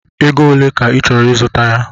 Ego ole ka ị chọrọ ịzụta ya?